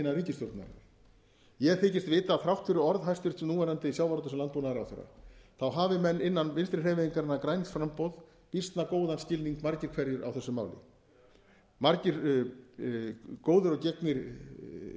innan ríkisstjórnarinnar ég þykist vita að þrátt fyrir orð hæstvirts núverandi sjávarútvegs og landbúnaðarráðherra hafi menn innan vinstri hreyfingarinnar græns framboðs býsna góðan skilning margir hverjir á þessu máli margir góðir og gegnir